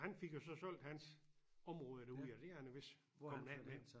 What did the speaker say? Han fik jo så solgt hans område derude og det er han vist kommet af med